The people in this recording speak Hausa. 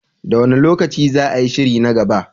Da wane lokaci za a yi shiri na gaba?